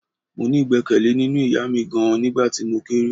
Mo ní igbekele nínú ìyá mi gan-an nígbà tí mo kéré.